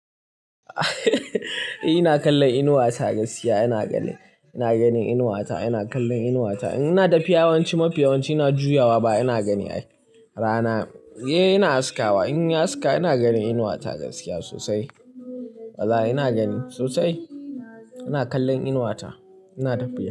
Ina kallon Inuwa ta gaskiya ina gani. Ina gani Inuwa ta, ina kallon Inuwa ta. Ina da fiyawanci, mafiyawanci ina juyawa ba ina gani ai. Rana, eh ina haskawa. In yi haska ina gani Inuwa ta gaskiya sosai. Wallahi ina gani sosai. Ina kallon Inuwa ta. Ina da fiyawanci.